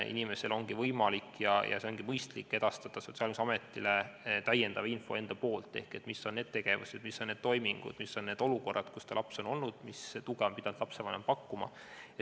Inimesel ongi võimalik – ja see on ka mõistlik – edastada Sotsiaalkindlustusametile täiendav info selle kohta, mis on need tegevused, mis on need toimingud ja mis on need olukorrad, kus tema laps on olnud, ning millist tuge on pidanud lapsevanem pakkuma.